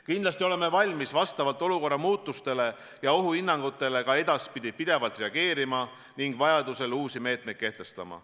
Kindlasti oleme valmis vastavalt olukorra muutumisele ja ohuhinnangutele ka edaspidi pidevalt reageerima ning vajadusel uusi meetmeid kehtestama.